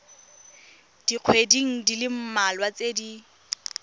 dikgweding di le mmalwa tse